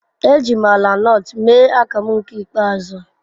Eji m ala nut mee akamu nke ikpeazu.